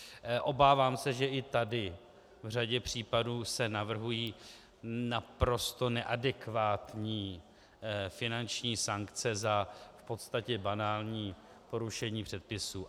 Obávám se, že i tady v řadě případů se navrhují naprosto neadekvátní finanční sankce za v podstatě banální porušení předpisů.